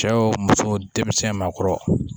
Cɛw muso denmisɛn ma kɔrɔ